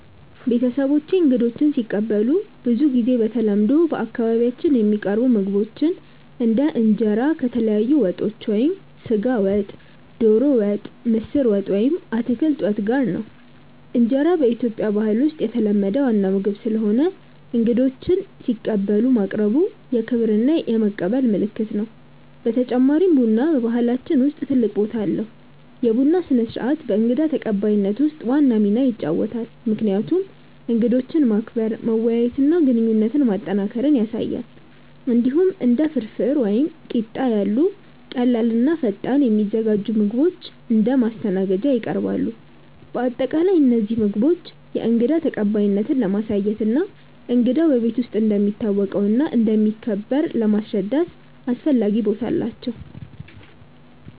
ቤተሰቦቼ እንግዶችን ሲቀበሉ ብዙ ጊዜ በተለምዶ በአካባቢያችን የሚቀርቡ ምግቦች እንደ እንጀራ ከተለያዩ ወጦች (ስጋ ወጥ፣ ዶሮ ወጥ፣ ምስር ወጥ ወይም አትክልት ወጥ) ጋር ነው። እንጀራ በኢትዮጵያ ባህል ውስጥ የተለመደ ዋና ምግብ ስለሆነ እንግዶችን ሲቀበሉ ማቅረቡ የክብር እና የመቀበል ምልክት ነው። በተጨማሪም ቡና በባህላችን ውስጥ ትልቅ ቦታ አለው፤ የቡና ስነ-ስርዓት በእንግዳ ተቀባይነት ውስጥ ዋና ሚና ይጫወታል፣ ምክንያቱም እንግዶችን ማክበር፣ መወያየት እና ግንኙነት ማጠናከር ያሳያል። እንዲሁም እንደ ፍርፍር ወይም ቂጣ ያሉ ቀላል እና ፈጣን የሚዘጋጁ ምግቦች እንደ ማስተናገድ ይቀርባሉ። በአጠቃላይ እነዚህ ምግቦች የእንግዳ ተቀባይነትን ለማሳየት እና እንግዳው በቤት እንደሚታወቀው እና እንደሚከበር ለማስረዳት አስፈላጊ ቦታ አላቸው።